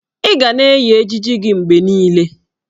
Ị ga na-eyi ejiji gị mgbe niile!